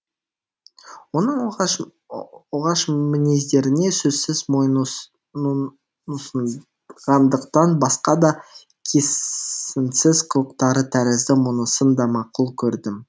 оның оғаш мінездеріне сөзсіз мойынұсынғандықтан басқа да қисынсыз қылықтары тәрізді мұнысын да мақұл көрдім